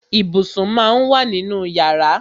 Ibùsùn má ń wà nínú yàrá.